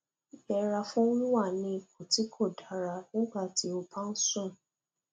yẹra fún wíwà ní ipò tí kò dára nígbà tí o bá ń sùn